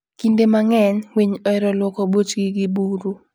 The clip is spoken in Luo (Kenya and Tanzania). Kinde mang'eny, winy ohero lwoko buchgi gi buru.